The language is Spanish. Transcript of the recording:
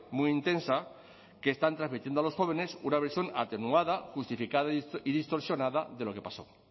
muy intensa que están transmitiendo a los jóvenes una versión atenuada justificada y distorsionada de lo que pasó